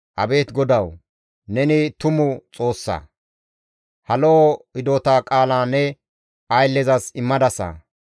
Abeet GODAWU! Neni tumu Xoossa; ha lo7o hidota qaala ne ayllezas immadasa.